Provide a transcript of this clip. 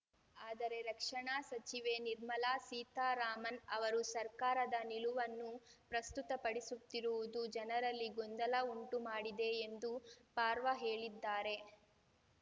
ಆದರೆ ರಕ್ಷಣಾ ಸಚಿವೆ ನಿರ್ಮಲಾ ಸೀತರಾಮನ್‌ ಅವರು ಸರ್ಕಾರದ ನಿಲುವನ್ನು ಪ್ರಸ್ತುತಪಡಿಸುತ್ತಿರುವುದು ಜನರಲ್ಲಿ ಗೊಂದಲ ಉಂಟು ಮಾಡಿದೆ ಎಂದು ಪರ್ವಾ ಹೇಳಿದ್ದಾರೆ